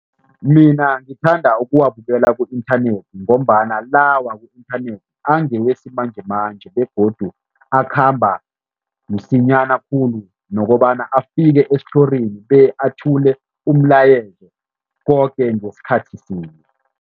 Mina ngithanda ukuwabukela ku-inthanethi ngombana la waku-inthanethi angewesimanjemanje begodu akhamba msinyana khulu nokobana afike esithlorini be athule umlayezo, koke ngesikhathi sinye.